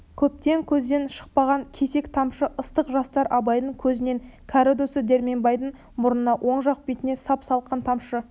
көптен көзден шықпаған кесек тамшы ыстық жастар абайдың көзінен кәрі досы дәркембайдың мұрнына оң жақ бетіне сап-салқын тамшы